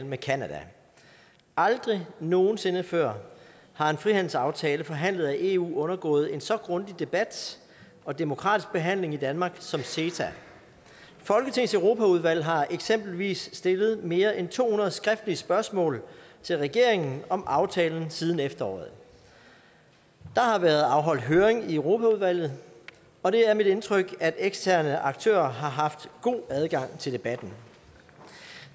med canada aldrig nogen sinde før har en frihandelsaftale forhandlet af eu undergået en så grundig debat og demokratisk behandling i danmark som ceta folketingets europaudvalg har eksempelvis stillet mere end to hundrede skriftlige spørgsmål til regeringen om aftalen siden efteråret der har været afholdt høring i europaudvalget og det er mit indtryk at eksterne aktører har haft god adgang til debatten